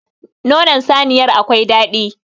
Nonon saniyar akwai dadi.